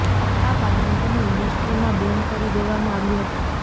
આ કારણે તેને ઇન્ડસ્ટ્રીમાં બેન કરી દેવામાં આવ્યો હતો